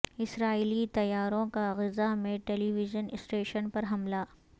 اسرائیلی طیاروں کا غزہ میں ٹیلی ویژن اسٹیشن پر حملہ